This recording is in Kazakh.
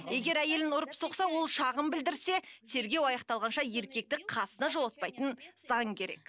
егер әйелін ұрып соқса ол шағым білдірсе тергеу аяқталғанша еркекті қасына жолатпайтын заң керек